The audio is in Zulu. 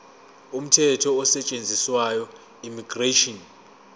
umthetho osetshenziswayo immigration